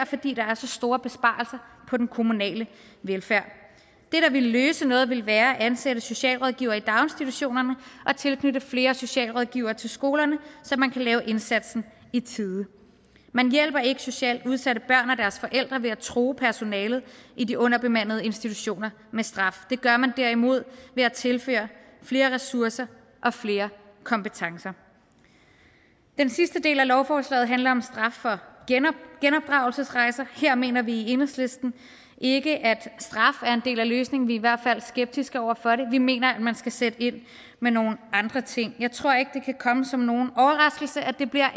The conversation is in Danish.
fordi der er så store besparelser på den kommunale velfærd det der ville løse noget ville være at ansætte socialrådgivere i daginstitutionerne og tilknytte flere socialrådgivere til skolerne så man kan lave indsatsen i tide man hjælper ikke socialt udsatte børn og forældre ved at true personalet i de underbemandede institutioner med straf det gør man derimod ved at tilføre flere ressourcer og flere kompetencer den sidste del af lovforslaget handler om straf for genopdragelsesrejser her mener vi i enhedslisten ikke at straf er en del af løsningen vi er i hvert fald skeptiske over for det og vi mener at man skal sætte ind med nogle andre ting jeg tror ikke det kan komme som nogen overraskelse at det bliver